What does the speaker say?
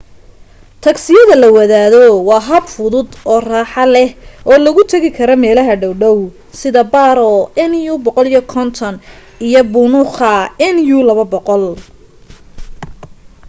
tagsiyada la wadaago waa hab fudud oo raaxo leb oo lagu tegi karo meelaha dhow-dhow sida paro nu 150 iyo punakha nu 200